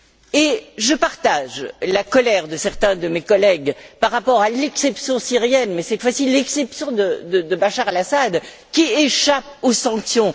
Et je partage la colère de certains de mes collègues par rapport à l'exception syrienne et, cette fois ci, à l'exception de Bachar el Assad, qui échappe aux sanctions.